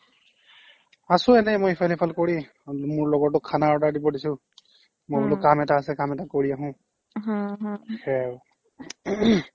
আছো মই এনেই ইফাল সিফাল কৰি মোৰ লগৰটোক খানা order দিব দিছো মোৰো কাম এটা আছে কাম এটা কৰি আহোঁ সেইয়াই আৰু